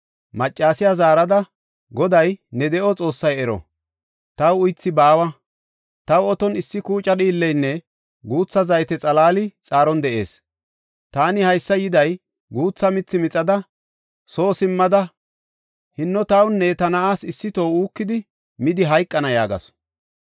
Maccasiya zaarada, “Goday, ne de7o Xoossay ero! Taw uythi baawa. Taw oton issi kuuca dhiilleynne guutha zayte xalaali xaaron de7ees. Taani haysa yiday guutha mithi mixada, soo simmada, hinno tawunne ta na7aas issi toho uukidi midi hayqana” yaagasu.